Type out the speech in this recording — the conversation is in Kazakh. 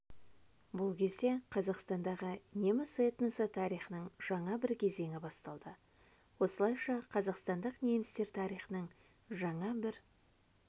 бұл кезде қазақстандағы неміс этносы тарихының жаңа бір кезеңі басталды осылайша қазақстандық немістер тарихының жаңа бір